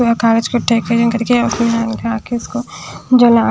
कागज को टेकन करके उसका के उसको जला --